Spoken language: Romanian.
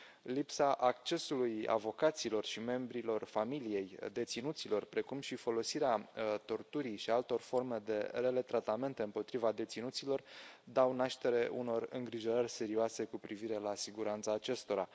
Lipsa accesului avocaților și membrilor familiei deținuților, precum și folosirea torturii și a altor forme de rele tratamente împotriva deținuților dau naștere unor îngrijorări serioase cu privire la siguranța acestora.